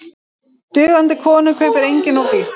Dugandi konu kaupir enginn of dýrt.